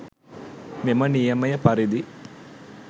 මෙම නියමය පරිදි